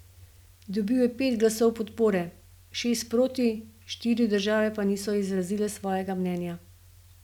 Dobil je pet glasov podpore, šest proti, štiri države pa niso izrazile svojega mnenja.